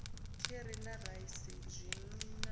kheri na raisi zwinwiwa na